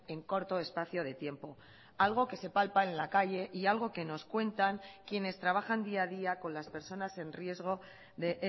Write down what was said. en corto espacio de tiempo algo que se palpa en la calle y algo que nos cuentan quienes trabajan día a día con las personas en riesgo de